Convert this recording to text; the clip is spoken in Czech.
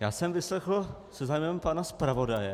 Já jsem vyslechl se zájmem pana zpravodaje.